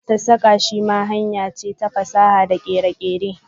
sassaka shi ma hanyar ce ta fasaha da kere-kere.